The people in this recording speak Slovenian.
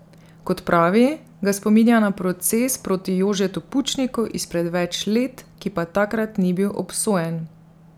Kot pravi, ga spominja na proces proti Jožetu Pučniku izpred več let, ki pa takrat ni bil obsojen.